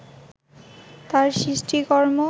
তাঁর সৃষ্টিকর্ম